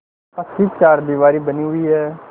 पक्की चारदीवारी बनी हुई है